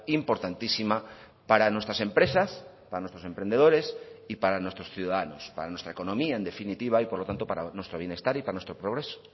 importantísima para nuestras empresas para nuestros emprendedores y para nuestros ciudadanos para nuestra economía en definitiva y por lo tanto para nuestro bienestar y para nuestro progreso